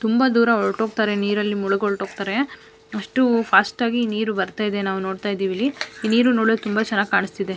ತುಂಬಾ ದೂರ ಹೊರ್ಟ್ ಹೋಗ್ತಾರೆ ನೀರಲ್ಲಿ ಮುಳಗ ಹೊರ್ಟ್ ಹೋಗ್ತಾರೆ ಅಷ್ಟು ಫಾಸ್ಟ್ ಆಗಿ ನೀರು ಬರ್ತಾ ಇದೆ ನಾವು ನೋಡ್ತಾ ಇದ್ದಿವಿ ಇಲ್ಲಿ ನೀರು ನೋಡೋಕೆ ತುಂಬಾ ಚೆನ್ನಾಗಿ ಕಾಣ್ತಾ ಇದೆ.